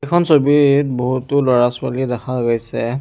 এইখন ছবিত বহুতো ল'ৰা-ছোৱালী দেখা গৈছে।